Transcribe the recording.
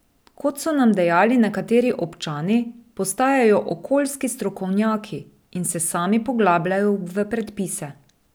Kot so nam dejali nekateri občani, postajajo okoljski strokovnjaki in se sami poglabljajo v predpise.